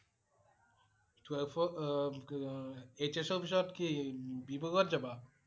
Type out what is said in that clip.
Twelve ৰ অ~অ HS ৰ পিছত কি বি বৰুৱা ত যাবা?